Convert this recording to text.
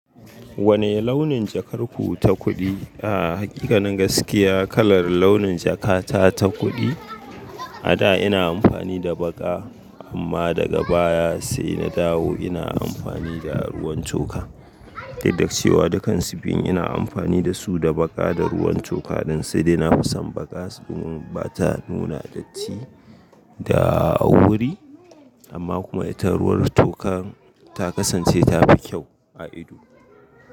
Wane launin jakar ku ta kuɗi? A hakika nan gaskiya kalar launin jakata ta kuɗi, a da ina amfani da baƙa amma daga baya sai na dawo ina amfani da ruwan toka. Don da cewa da kansu biyun ina amfani da su da baƙa da ruwan toka ɗin sai ina fi son baƙa saboda bata nuna datti da wuri amma kuma itan ruwan toka ta kasance tafi kyau a ido.